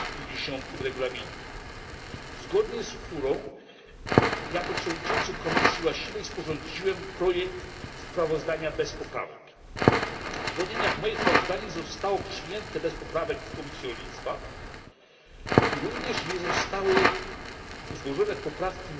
50 Regulaminu, zgodnie z którą jako przewodniczący komisji właściwej sporządziłem projekt sprawozdania bez poprawek po tym, jak moje sprawozdanie zostało przyjęte bez poprawek w Komisji Rolnictwa i również nie zostały złożone poprawki